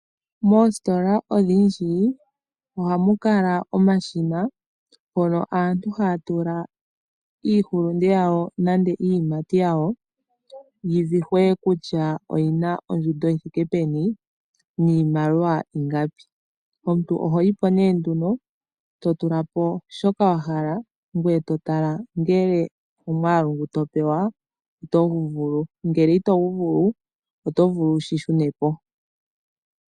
Moostola odhindji ohamu kala omashina, hono aantu haa tula iihulunde yawo nande iiyimati yawo, yi vihwe kutya oyi na ondjundo yi thike peni niimaliwa ingapi. Omuntu oho yi po nduno, to tula po shoka wa hala, ngoye to tala ngele omwaalu ngo to pewa oto gu vulu. Ngele ito gu vulu, oto vulu wu shi shune po.